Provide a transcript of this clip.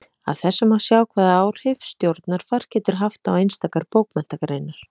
Af þessu má sjá hvaða áhrif stjórnarfar getur haft á einstakar bókmenntagreinar.